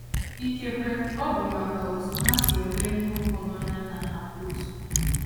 Ikekwe, ọ bụ maka na otú ha si ele ihe ụfọdụ anya anaghị abụ otu.